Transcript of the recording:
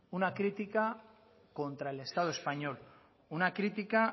una crítica contra el estado español una crítica